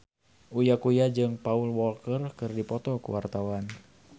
Uya Kuya jeung Paul Walker keur dipoto ku wartawan